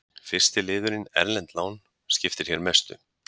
Fyrsti liðurinn, erlend lán, skiptir hér mestu.